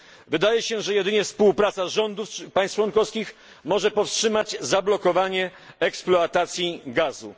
Wydaje się, że jedynie współpraca rządów państw członkowskich może powstrzymać zablokowanie eksploatacji gazu.